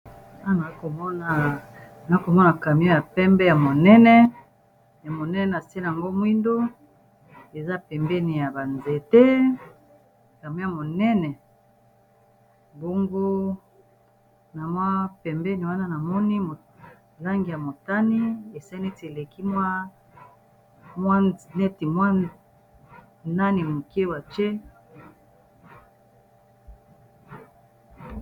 A na komona nakomona camion ya pembe ya monene nase yango mwindo eza pembeni ya banzete camion ya monene bongo na mwa pembeni wana na moni molangi ya motani ese neti eleki mwa neti mwa nani moke wa